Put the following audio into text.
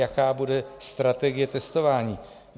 Jaká bude strategie testování?